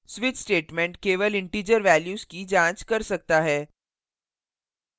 switch statement केवल integer values की जांच कर सकता है